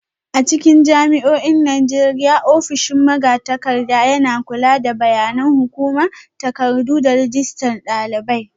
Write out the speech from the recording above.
A cikin jami'o'in Najeriya, ofishin magatakarda na kula da bayanan hukuma, takardu, da rajistar dalibai.